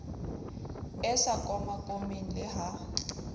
e sa komakomeng le ha